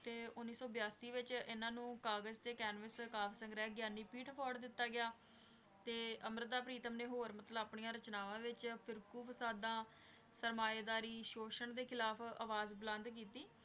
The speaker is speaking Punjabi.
ਤੇ ਉੱਨੌ ਸੌ ਬਿਆਸੀ ਵਿੱਚ ਇਹਨਾਂ ਨੂੰ ਕਾਗਜ਼ ਤੇ ਕੈਨਵਸ ਕਾਵਿ ਸੰਗ੍ਰਹਿ ਗਿਆਨਪੀਠ award ਦਿੱਤਾ ਗਿਆ, ਤੇ ਅੰਮ੍ਰਿਤਾ ਪ੍ਰੀਤਮ ਨੇ ਹੋਰ ਮਤਲਬ ਆਪਣੀਆਂ ਰਚਨਾਵਾਂ ਵਿੱਚ ਫ਼ਿਰਕੂ ਫਸਾਦਾਂ, ਸਰਮਾਏਦਾਰੀ, ਸ਼ੋਸ਼ਣ ਦੇ ਖਿਲਾਫ਼ ਆਵਾਜ਼ ਬੁਲੰਦ ਕੀਤੀ।